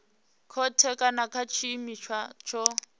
khothe kana nga tshiimiswa tsho